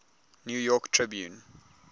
new york tribune